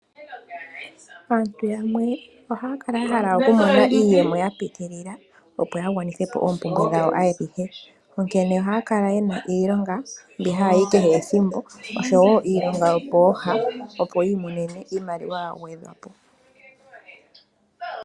Aantu yamwe ohaya kala yahala oku mona iiyemo ya pitilila opo ya gwanithe po oompumbwe dhawo adhihe, onkene ohaya kala yena iilonga mbi haya yi kehe ethimbo oshowo iilonga yopooha, opo yi imonene iimaliwa ya gwedhwa po.